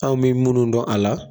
Aw bɛ munnu dɔn a la.